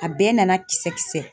A bɛɛ nana kisɛ kisɛ.